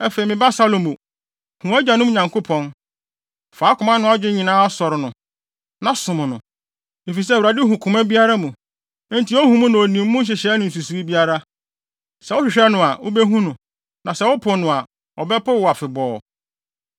“Afei, me ba Salomo, hu wʼagyanom Nyankopɔn. Fa wo koma ne wʼadwene nyinaa sɔre no, na som no. Efisɛ Awurade hu koma biara mu, enti ohu na onim emu nhyehyɛe ne nsusuwii biara. Sɛ wohwehwɛ no a, wubehu no. Na sɛ wopo no a, ɔbɛpo wo afebɔɔ.